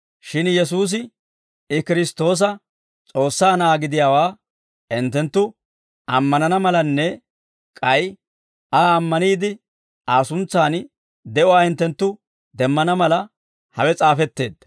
Shin Yesuusi, I Kiristtoosa, S'oossaa Na'aa gidiyaawaa hinttenttu ammanana malanne, k'ay Aa ammaniide Aa suntsan de'uwaa hinttenttu demmana mala, hawe s'aafetteedda.